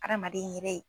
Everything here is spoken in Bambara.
Adamaden yɛrɛ